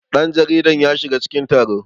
danjaridar ya shiga cikin taro